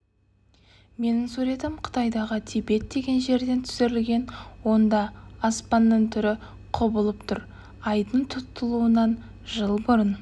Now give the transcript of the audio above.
менің суретім қытайдағы тибет деген жерден түсірілген онда аспанның түсі құбылып тұр айдың тұтылуынан жыл бұрын